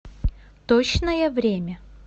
точное время